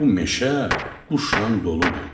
Bu meşə quşnan doludur.